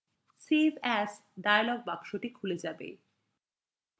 এটি করার সময় save as dialog বক্সটি খুলে save